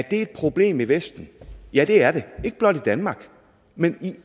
et problem i vesten ja det er det ikke blot i danmark men i